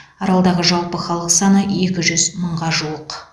аралдағы жалпы халық саны екі жүз мыңға жуық